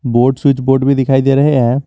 Board switch board भी दिखाई दे रहे हैं।